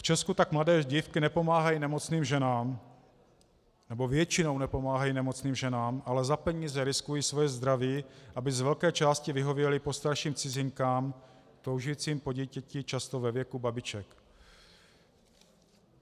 V Česku tak mladé dívky nepomáhají nemocným ženám, nebo většinou nepomáhají nemocným ženám, ale za peníze riskují své zdraví, aby z velké části vyhověly postarším cizinkám toužícím po dítěti, často ve věku babiček.